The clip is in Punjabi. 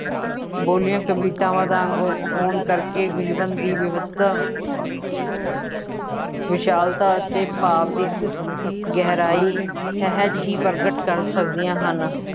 ਬੋਲੀਆ ਕਵਿਤਾਵਾਂ ਦਾ ਅੰਗ ਹੋਣ ਕਰਕੇ ਜੀਵਨ ਦੀ ਵਿਵਸਥਾ ਵਿਸ਼ਾਲਤਾ ਅਤੇ ਭਾਵ ਦੀ ਗਹਿਰਾਈ ਸਹਿਜ ਹੀ ਪ੍ਰਗਟ ਕਰ ਸਕਦੀਆਂ ਹਨ।